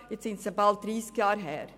Nun ist es bald dreissig Jahre her.